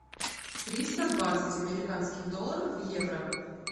триста двадцать американских долларов в евро